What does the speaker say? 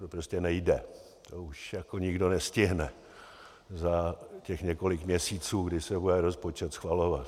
To prostě nejde, to už nikdo nestihne za těch několik měsíců, kdy se bude rozpočet schvalovat.